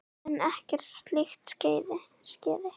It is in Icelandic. En ekkert slíkt skeði.